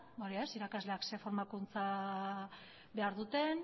edo ez irakasleak zer formakunza behar duten